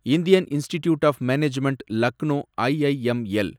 Indian Institute of Management Lucknow, IIML